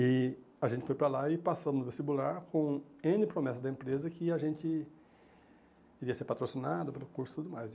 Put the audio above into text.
E a gente foi para lá e passamos no vestibular com ene promessa da empresa que a gente iria ser patrocinado pelo curso e tudo mais.